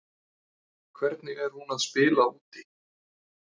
Hvernig er hún að spila úti?